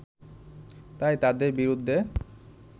তাই তাদের বিরুদ্ধে